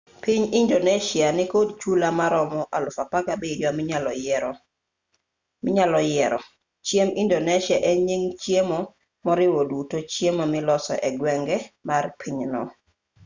piny indonesia nikod chula maromo 17,000 minyalo yiero chiemb indonesia en nying chiemo moriwo duto chiemo miloso egwenge mar pinyno